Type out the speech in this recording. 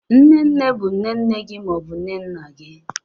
Nne nne bụ nne nne gị ma ọ bụ nne nna gị.